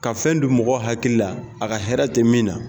Ka fɛn don mɔgɔ hakili la a ka hɛrɛ tɛ min na